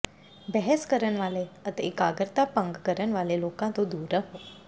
ਬਹਿਸ ਕਰਨ ਵਾਲੇ ਤੇ ਇਕਾਗਰਤਾ ਭੰਗ ਕਰਨ ਵਾਲੇ ਲੋਕਾਂ ਤੋਂ ਦੂਰ ਰਹੋ